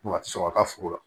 Wa a tɛ sɔn a ka foro la